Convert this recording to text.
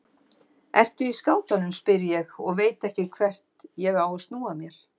Ertu í skátunum, spyr ég og veit ekki hvert ég á að snúa mér.